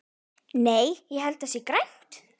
Nei, ég held að það sé grænt.